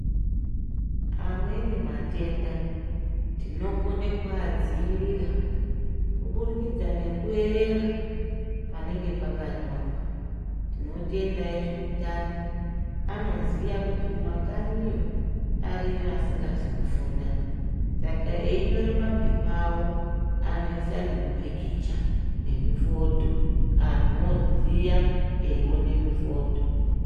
Amweni matenda tinokona kuadziirira kuburikidza nekuerenga panenge pakanyorwa. Tinotenda vezveutano anoziya kuti kumakanyiyo ariyo adingazi kufunda. Saka eyinyora mapepa awo anoyisa nemupikicha nemifodho antu oziya eyiwone mifodho.